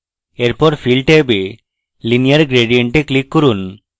তারপর fill ট্যাবে linear gradient এ click করুন